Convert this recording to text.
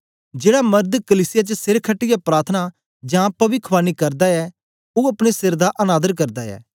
जेड़ा मर्द कलीसिया च सिर खटीयै प्रार्थना जां पविखवाणी करदा ऐ ओ अपने सिर दा अनादर करदा ऐ